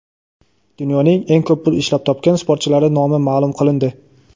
Dunyoning eng ko‘p pul ishlab topgan sportchilari nomi maʼlum qilindi.